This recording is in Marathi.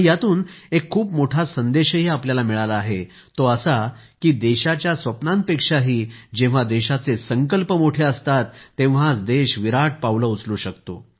यातून एक खूप मोठा संदेशही आपल्याला मिळाला आहेतो असा की देशाच्या स्वप्नांपेक्षाही जेव्हा देशाचे संकल्प मोठे असतात तेव्हाच देश विराट पावले उचलू शकतो